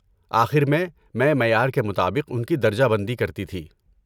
آخر میں، مَیں معیار کے مطابق ان کی درجہ بندی کرتی تھی۔